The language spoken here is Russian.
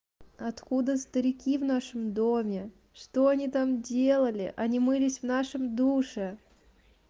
откуда старики в нашем доме что они там делали они мылись в нашем душе